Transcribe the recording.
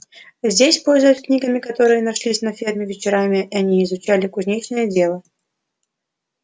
здесь пользуясь книгами которые нашлись на ферме вечерами они изучали кузнечное дело